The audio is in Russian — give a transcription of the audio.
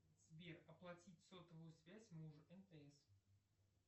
сбер оплатить сотовую связь мужу мтс